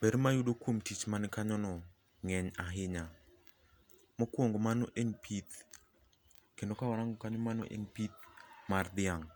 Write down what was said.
Ber mayudo kuom tich man kanyono ng'eny ahinya. Mokuongo mano en pith, kendo kawarango kanyo mano en pith mar dhiang'